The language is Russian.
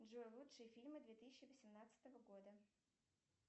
джой лучшие фильмы две тысячи восемнадцатого года